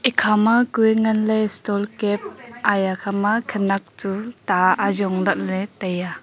ikhama kue nganley stole cap aya khama khanak tu tah azongla ley taiya.